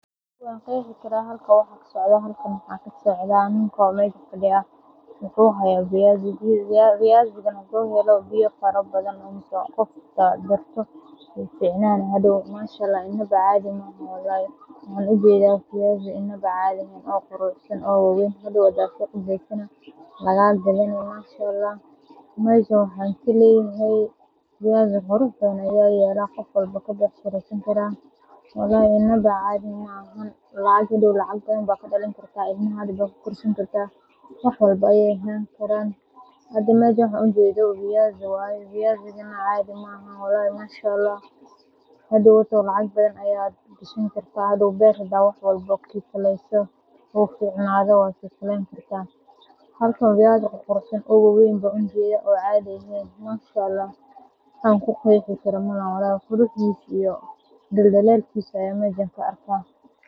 Wan qexi karaa waxaaa halkan kasocdo waxaa kasocdaa niko aya meja fadiya, waxan ujeda viazi waxen, meshan waxan arki haya viazi qurx badan hadkw lacag badan aya kasameyni kartaa, wax an ku qexi karo malaha dal dalalkisa ayan halkan ka arki haya.